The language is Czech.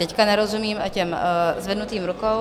Teď nerozumím těm zvednutým rukám.